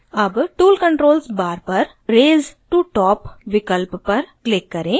अब tool controls bar पर raise to top विकल्प पर click करें